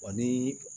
Wa ni